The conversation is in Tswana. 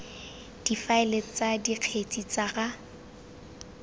difaele tsa dikgetse tsa ga